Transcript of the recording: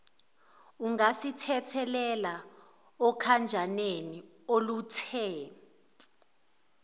ungasithelela okhanjaneni oluthe